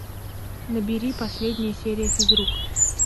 набери последняя серия физрук